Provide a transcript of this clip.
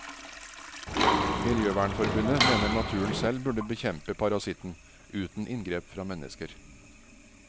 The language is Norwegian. Miljøvernforbundet mener naturen selv burde bekjempe parasitten uten inngrep fra mennesker.